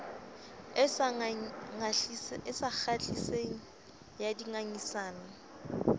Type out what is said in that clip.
e sa kgahliseng ya dingangisano